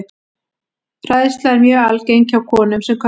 Hræðsla er mjög algeng hjá konum sem körlum.